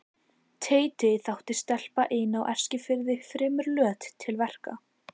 Teiti þótti stelpa ein á Eskifirði fremur löt til verka.